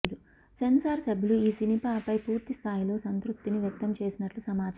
censor సభ్యులు ఈ సినిమాపై పూర్తిస్థాయిలో సంతృప్తిని వ్యక్తం చేసినట్టు సమాచారం